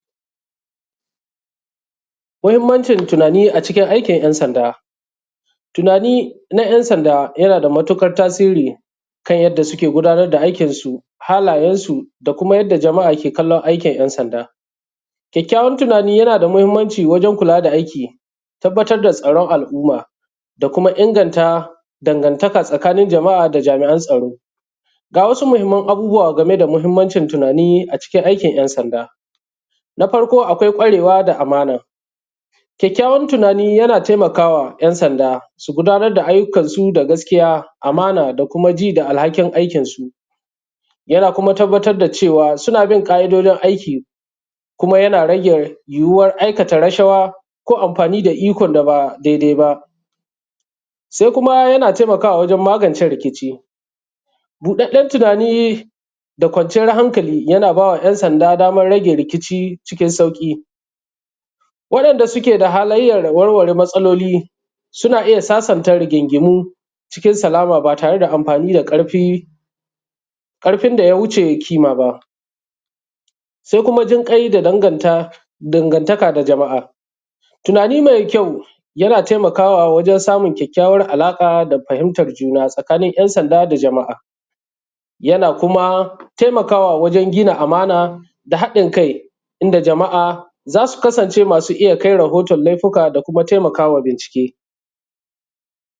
Tunani na ‘yansanda yana da matuƙar tasiri ta yanda suke gudanar da aiƙinsu, halayensu da kuma yanda jama’a ke kallon aiƙin ‘yansanda. Kyakkyawan tunani yana da matuƙar mahimmanci wajen kula da aiƙi, tabtar da tsaron al’umma da kuma inganta dangantaka tsakanin jama’a da jami’an tsaro. Ga wasu mahimman abubuwa game da muhimmanci tunani a cikin aiƙin ‘yansanda, na farko akwai ƙwarewa da amana, kyakkyawan tunani yana tanamakawa ‘yansanda su gudnatar da ayukansu da gaskiya, amana da kuma ji da alhakin aiƙinsu, yana kuma tabbtar da cewa suna bin ƙa’idojin aiƙin kuma yana rage yiwuwar aikata rashawa ko amfani da ikon da ba dai-dai ba. Sai kuma yana taimakawa wajen magance rikici. Buɗaɗɗen tunani da kwanciyar hankali yana baiwa ‘yansanda damar rage rikici cikin sauƙi waɗanda suke da halayyar warware matsaloli sun iya sasanta rigingimu cikin salama ba tare da amfani da ƙarfin da ya wuce ƙima ba, sai kuma jinkai da dangantaka da jama’a. Tunani mai kyau yana taimakawa wajen samun kyakkyawar alaƙa da fahimtar juna tsakanin ‘yansanda da jama’a yana kuma taimakawa wajen gina amana da haɗin kai inda jama’a za su kasanci mai iya kai rahoton laifuka da kuma tanamakawa bincike.